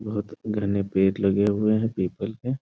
बहोत घने पेड़ लगे हुए है पीपल के।